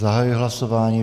Zahajuji hlasování.